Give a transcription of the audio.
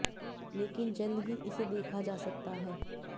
लेकिन जल्द ही इसे देखा जा सकता है